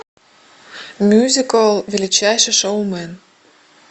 мюзикл величайший шоумен